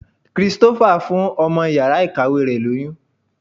Christopher fún ọmọ yàrá ìkàwé rẹ̀ lóyún.